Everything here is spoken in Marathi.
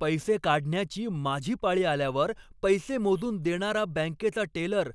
पैसे काढण्याची माझी पाळी आल्यावर पैसे मोजून देणारा बँकेचा टेलर